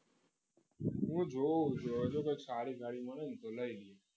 હું જોઉં છું હવે જો કંઈક સારી ગાડી મળે ને તો લઈ લઈએ